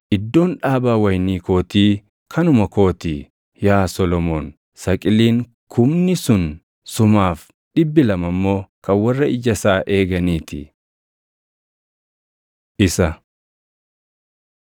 Iddoon dhaabaa wayinii kootii, kanuma koo ti; yaa Solomoon, saqiliin kumni sun sumaaf; dhibbi lama immoo kan warra ija isaa eeganii ti. Isa